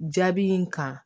Jaabi in kan